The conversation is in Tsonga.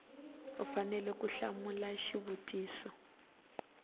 u fanele ku hlamula xivutiso